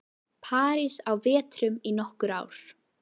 París á vetrum í nokkur ár.